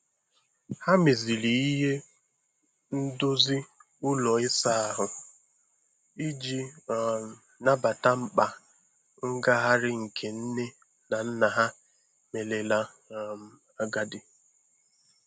Ha meziri ihe ndozi ụlọ ịsa ahụ iji um nabata mkpa ngagharị nke nne na nna ha merela um agadi.